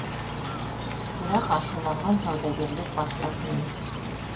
бірақ ашуланған саудагерлер басылатын емес